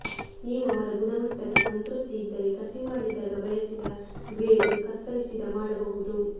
ನೀವು ಅವರ ಗುಣಮಟ್ಟದ ಸಂತೃಪ್ತಿ ಇದ್ದರೆ ಕಸಿಮಾಡಿದಾಗ ಬಯಸಿದ ಗ್ರೇಡ್ ಕತ್ತರಿಸಿದ ಮಾಡಬಹುದು